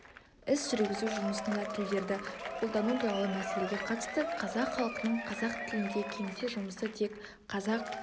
іс жүргізу жұмысында тілдерді қолдану туралы мәселеге қатысты қазақ халқының қазақ тілінде кеңсе жұмысы тек қазақ